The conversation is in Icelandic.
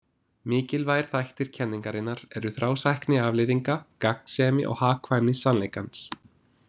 Mikilvægir þættir kenningarinnar eru þrásækni afleiðinga, gagnsemi og hagkvæmni sannleikans.